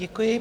Děkuji.